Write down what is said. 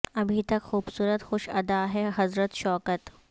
ابھی تک خوبصورت خوش اد ا ہیں حضرت شوکت